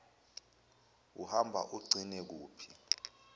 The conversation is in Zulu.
uhamba ugcine kuphi